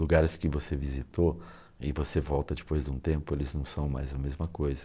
Lugares que você visitou e você volta depois de um tempo, eles não são mais a mesma coisa.